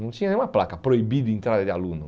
Não tinha nenhuma placa proibido entrada de aluno.